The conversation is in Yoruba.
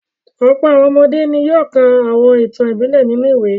Ọ̀pọ̀ àwọn ọmọdé ni yóò ka àwọn ìtàn ìbílẹ̀ nínú ìwé.